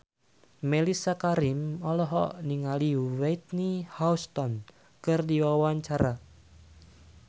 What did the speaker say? Mellisa Karim olohok ningali Whitney Houston keur diwawancara